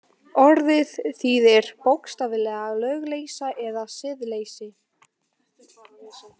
Orðið þýðir bókstaflega lögleysa eða siðleysi.